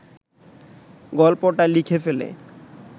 গল্পটা লিখে ফেলে